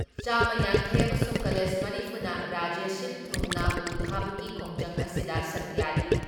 ꯆꯥꯝꯃ ꯌꯥꯡꯈꯩ ꯑꯃꯁꯨꯡ ꯀꯂꯦꯖ ꯃꯔꯤꯐꯨꯅ ꯔꯥꯖ꯭ꯌ ꯁꯤꯟ ꯊꯨꯡꯅ ꯎ ꯊꯥꯕꯒꯤ ꯈꯣꯡꯖꯪ ꯑꯁꯤꯗ ꯁꯔꯨꯛ ꯌꯥꯔꯤ ꯫